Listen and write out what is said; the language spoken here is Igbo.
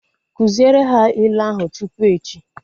Kụziere ha ilu ahu tupu echi!